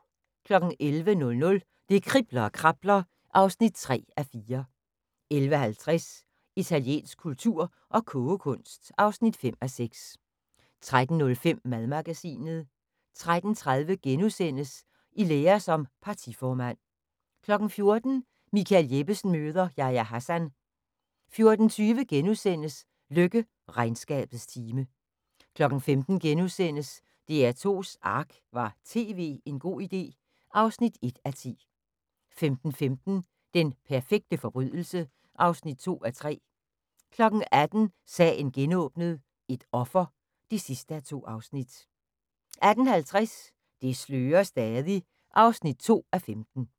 11:00: Det kribler og krabler (3:4) 11:50: Italiensk kultur og kogekunst (5:6) 13:05: Madmagasinet 13:30: I lære som partiformand * 14:00: Michael Jeppesen møder ... Yahya Hassan 14:20: Løkke: Regnskabets time * 15:00: DR2's ARK – var tv en god idé? (1:10)* 15:15: Den perfekte forbrydelse (2:3) 18:00: Sagen genåbnet: Et offer (2:2) 18:50: Det slører stadig (2:15)